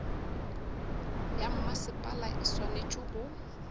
ya mmasepala e swanetše go